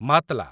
ମାତ୍‌ଲା